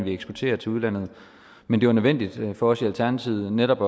eksporterer til udlandet men det var nødvendigt for os i alternativet netop